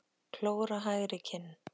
Klór á hægri kinn.